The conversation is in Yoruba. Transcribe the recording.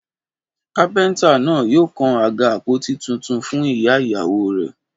Kápẹ́ntà náà yóò kan àga àpótí tuntun fún ìyá ìyàwó rẹ̀